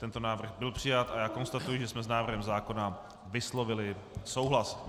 Tento návrh byl přijat a já konstatuji, že jsme s návrhem zákona vyslovili souhlas.